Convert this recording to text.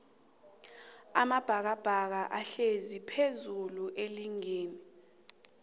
amabhakabhaka ahlezi phezullu eligini